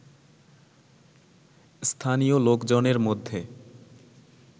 স্থানীয় লোকজনের মধ্যে